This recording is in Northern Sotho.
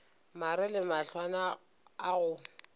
mare le mahlwana a go